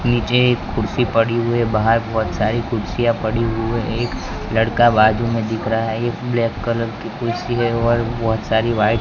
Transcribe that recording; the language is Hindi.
पीछे एक कुर्सी पड़ी हुई है बाहर बहुत सारी कुर्सियां पड़ी हुई है एक लड़का बाजू में दिख रहा है एक ब्लैक कलर की कुर्सी है और बहुत सारी व्हाइट --